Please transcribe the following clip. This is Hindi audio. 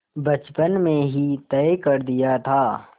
बचपन में ही तय कर दिया था